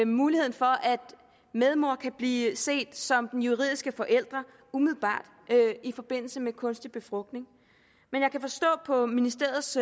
muligheden for at medmor kan blive set som den juridiske forælder umiddelbart i forbindelse med kunstig befrugtning men jeg kan forstå på ministeriets